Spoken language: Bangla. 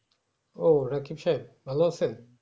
ও রোকিব সাহেব ভালো আছেন